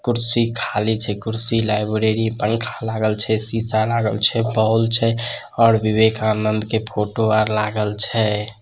कुर्सी खाली छे कुर्सी लाइब्रेरी पंखा लागल छे शीशा लागल छे बाल छे और विवेकानंद के फोटो आर लागल छे।